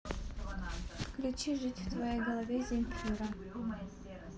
включи жить в твоей голове земфира